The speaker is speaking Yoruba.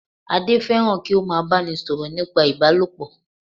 Adé fẹ́ràn kí ó má a báni sọ̀rọ̀ Ìbálòpọ̀